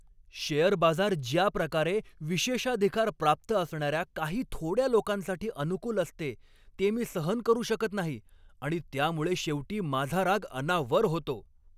Share बाजार ज्याप्रकारे विशेषाधिकार प्राप्त असणाऱ्या काही थोड्या लोकांसाठी अनुकूल असते ते मी सहन करू शकत नाही आणि त्यामुळे शेवटी माझा राग अनावर होतो.